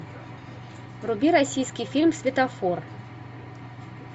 вруби российский фильм светофор